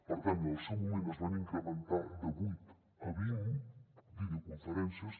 per tant en el seu moment es van incrementar de vuit a vint videoconferències